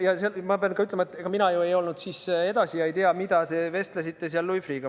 Ja ma pean ka ütlema, et ega mina ju ei olnud seal edasi ega tea, millest te vestlesite seal Louis Freeh'ga.